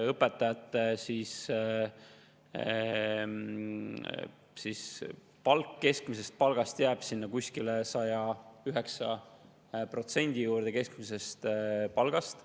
Õpetajate palk jääb 109% juurde keskmisest palgast.